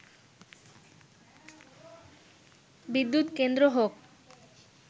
বিদ্যুৎ কেন্দ্র হোক